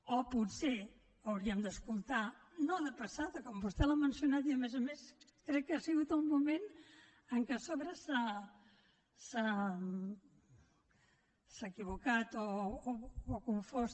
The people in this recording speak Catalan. o potser hauríem d’escoltar no de passada com vostè l’ha mencionat i a més a més crec que ha sigut el moment en què a sobre s’ha equivocat o ha confós